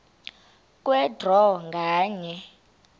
kwe draw nganye